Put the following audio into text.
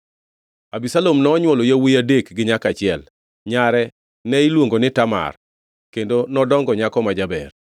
Abisalom nonywolo yawuowi adek gi nyako achiel. Nyare ne iluongo ni Tamar, kendo nodongo nyako ma jaber.